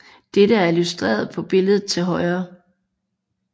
Dette er illustreret på billedet til højre